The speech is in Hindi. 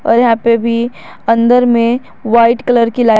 और यहां पे भी अंदर में वाइट कलर की लाइट --